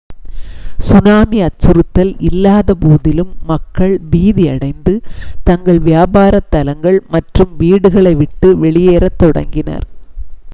tsunami அச்சுறுத்தல் இல்லாத போதிலும் மக்கள் பீதி அடைந்து தங்கள் வியாபாரத் தலங்கள் மற்றும் வீடுகளை விட்டு வெளியேறத் தொடங்கினர்